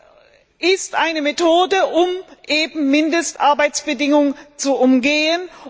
Das ist eine Methode, um Mindestarbeitsbedingungen zu umgehen.